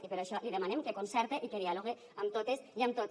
i per això li demanem que concerte i que dialogue amb totes i amb tots